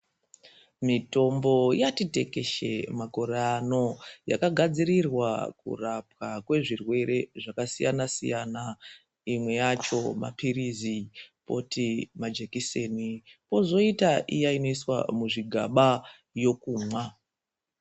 Mithombo yati tekeshe makore ano yakagadzirirwa kurapwa kwezvirwere zvakasiyanasiyana. Imwe yacho maphilizi kwoti majekiseni kwozoita iya inoiswa muzvigaba yekumwa.